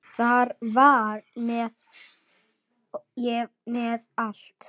Þar var ég með allt.